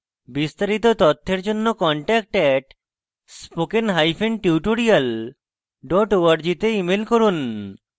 বিস্তারিত তথ্যের জন্য contact @spokentutorial org তে ইমেল করুন